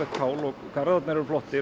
kál og Garðarnir eru flottir